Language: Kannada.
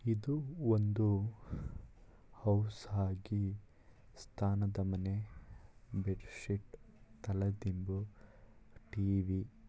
ಇದು ಒಂದು ಹೌಸ್‌ ಆಗಿ ಸ್ತಾನದ ಮನೆ ಬೆಡ್‌ ಶೀಟ್‌ ತಲೆ ದಿಂಬು ಟಿ.ವಿ. --